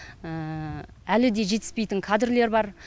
әлі де жетіспейтін кадрлер бар